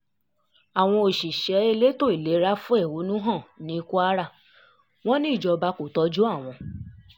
àwọn òṣìṣẹ́ elétò ìlera fẹ̀hónú hàn ní kwara wọn ní ìjọba kò tọ́jú àwọn